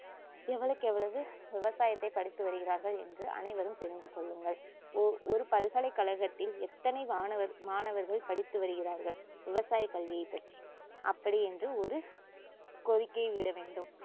எவ்வளவுக்கெவ்ளோ விவசாயத்தைப் படித்து வருகிறார்கள் என்று அனைவரும் தெரிந்துகொள்ளுங்கள் ஒ~ ஒரு பல்கலைக்கழகத்தில் எத்தனை மாணவர்~ மாணவர்கள் படித்து வருகிறார்கள் விவசாயக்கல்வியைப்பற்றி அப்படியென்று ஒரு கோரிக்கைவிட வேண்டும்